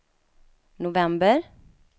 november